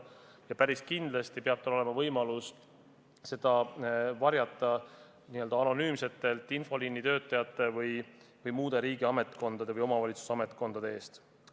Ja päris kindlasti peab tal olema võimalik seda varjata n-ö anonüümsete infoliinitöötajate või muude riigiametnike või omavalitsuse ametnike eest.